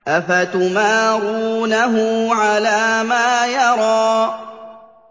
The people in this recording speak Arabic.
أَفَتُمَارُونَهُ عَلَىٰ مَا يَرَىٰ